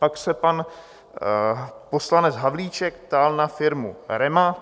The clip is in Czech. Pak se pan poslanec Havlíček ptal na firmu REMA.